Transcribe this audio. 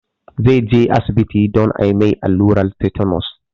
Zai je asibiti don a mai allurar tetanus